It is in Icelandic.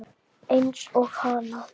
Eins og hana.